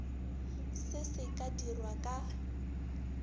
se se ka dirwa ka